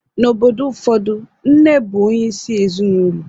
N'obodo ụfọdụ, nne bụ onyeisi ezinụlọ